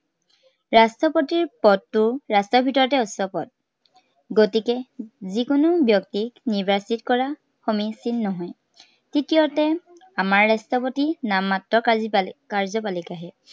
ৰাষ্ট্ৰপতিৰ পদটো ৰাষ্ট্ৰৰ ভিতৰতে উচ্চ পদ। গতিকে যি কোনো ব্য়ক্তিক নিৰ্বাচিত কৰা সমীচিন নহয়। তৃতীয়তে, আমাৰ ৰাষ্ট্ৰপতি নামমাত্ৰ কাৰ্যপালি~ কাৰ্যপালিকাহে।